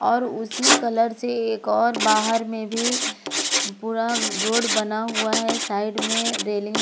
और उसी कलर से एक और बाहर में भी पूरा रोड बना हुआ है साइड में रेलिंग ।